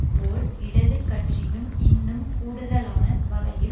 போல் இடது கட்சியும் இன்னும் கூடுதலான வகையில்